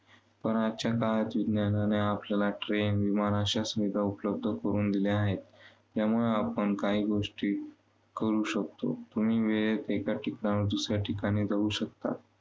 पण आजच्या काळात विज्ञानाने आपल्याला train विमान अशा सुविधा उपलब्ध करून दिल्या आहेत. त्यामुळे आपण काही गोष्टी करू शकतो. तुम्ही वेळेत एका ठिकाणाहून दुसऱ्या ठिकाणी जाऊ शकता.